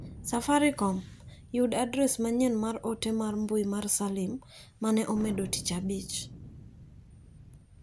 safaricom. Yud adres manyien mar ote mbui mar salim mane amedo tich abich.